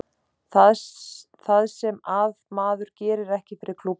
Það sem að maður gerir ekki fyrir klúbbinn sinn.